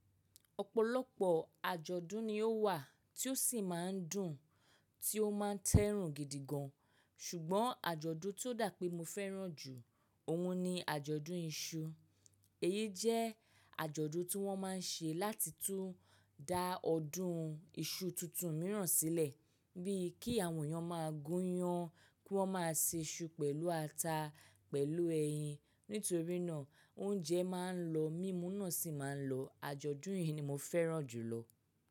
Ọ̀pọ̀lọpọ̀ àjọ̀dún ni ó wà tí ó sì máa ń dùn, tí ó máa ń tẹ́rùn gidigan. Ṣùgbọ́n àjọ̀dún tí ó dà pé mo fẹ́ràn jù ọ̀wọn ni àjọ̀dún ìṣu. Èyí jẹ́ àjọ̀dún tí wọ́n máa ń ṣe láti tún dá ọdún iṣu tuntun mìíràn sílẹ̀ bí i kí àwọn èèyàn máa gúnyán, kí wọ́n máa se iṣu pẹ̀lú ata pẹ̀lú ẹyin. Nítorí náà oúnjẹ máa ń lọ, mímú náà sì máa ń lọ. Àjọ̀dún yìí ni mo fẹ́ràn jùlọ.